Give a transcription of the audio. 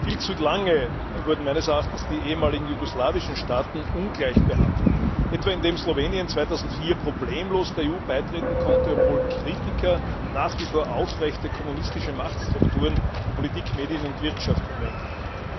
Viel zu lange wurden meines Erachtens die ehemaligen jugoslawischen Staaten ungleich behandelt, etwa indem Slowenien 2004 problemlos der EU beitreten konnte, obwohl Kritiker nach wie vor bestehende kommunistische Machtstrukturen in Politik, Medien und Wirtschaft bemängelten.